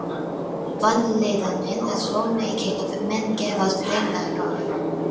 Vanlíðanin er svo mikil að menn gefast hreinlega upp.